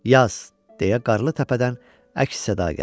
Yaz, deyə qarlı təpədən əks-səda gəldi.